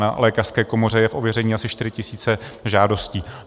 Na lékařské komoře je v ověření asi 4 000 žádostí.